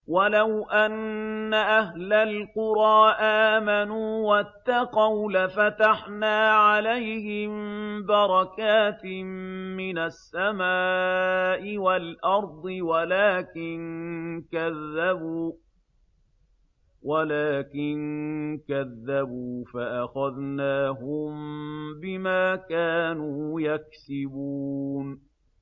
وَلَوْ أَنَّ أَهْلَ الْقُرَىٰ آمَنُوا وَاتَّقَوْا لَفَتَحْنَا عَلَيْهِم بَرَكَاتٍ مِّنَ السَّمَاءِ وَالْأَرْضِ وَلَٰكِن كَذَّبُوا فَأَخَذْنَاهُم بِمَا كَانُوا يَكْسِبُونَ